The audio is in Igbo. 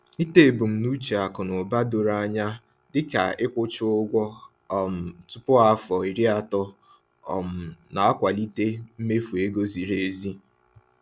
Ịtọ ebumnuche akụ na ụba doro anya, dịka ịkwụchaa ụgwọ um tupu afọ iri atọ, um na-akwalite mmefu ego ziri ezi.